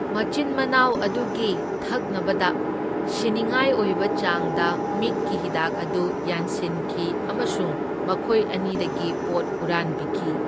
ꯃꯆꯤꯟ ꯃꯅꯥꯎ ꯑꯗꯨꯒꯤ ꯊꯛꯅꯕꯗ ꯁꯤꯅꯤꯡꯉꯥꯏ ꯑꯣꯏꯕ ꯆꯥꯡꯗ ꯃꯤꯠꯀꯤ ꯍꯤꯗꯥꯛ ꯑꯗꯨ ꯌꯥꯟꯁꯤꯟꯈꯤ ꯑꯃꯁꯨꯡ ꯃꯈꯣꯏ ꯑꯅꯤꯗꯒꯤ ꯄꯣꯠ ꯍꯨꯔꯥꯟꯕꯤꯈꯤ꯫